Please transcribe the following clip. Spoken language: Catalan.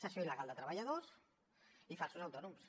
cessió il·legal de treballadors i falsos autònoms